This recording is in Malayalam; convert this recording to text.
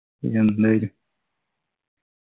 പിന്നെ എന്താ ഇത്